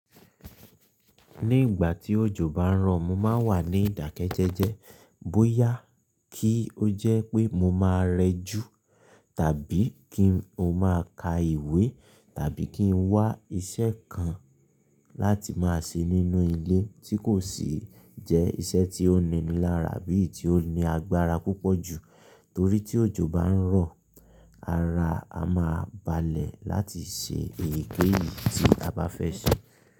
Ní ìgbà tí òjò bá ń rọ̀, mo máa ń wà ní ìdákẹ́jẹ́jẹ́ bóyá kí ó jẹ́ pé mo máa rẹ jù tàbí kí ó máa ka ìwé tàbí kí n wá iṣẹ́ kan láti máa ṣe nínú ilé tí kò sì jẹ́ iṣẹ́ tí ó ni i lára bí i tí ó ní agbára púpọ̀ jù. Torí tí òjò bá ń rọ̀, ara a máa balẹ̀ láti ṣe èyíkéyìí tí a bá fẹ́ ṣe.